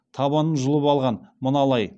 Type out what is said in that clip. табанын жұлып алған мына лай